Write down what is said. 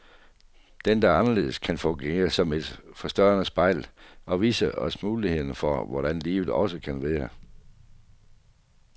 Den, der er anderledes, kan fungere som et forstørrende spejl, og vise os muligheder for hvordan livet også kan være.